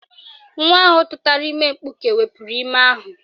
Nwa ahụ tụtara ime mkpuke wepuru ime ahụ